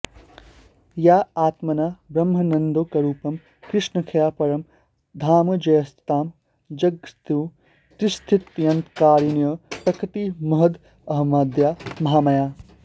या आत्मना ब्रह्मानन्दैकरूपं कृष्णाख्यं परं धामाजयंस्ता जगत्सृष्टिस्थित्यन्तकारिण्यः प्रकृतिमहदहमाद्या महामायाः